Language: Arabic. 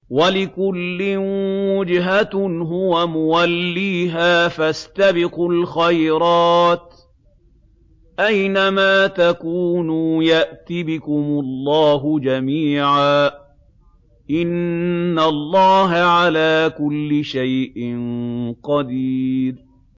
وَلِكُلٍّ وِجْهَةٌ هُوَ مُوَلِّيهَا ۖ فَاسْتَبِقُوا الْخَيْرَاتِ ۚ أَيْنَ مَا تَكُونُوا يَأْتِ بِكُمُ اللَّهُ جَمِيعًا ۚ إِنَّ اللَّهَ عَلَىٰ كُلِّ شَيْءٍ قَدِيرٌ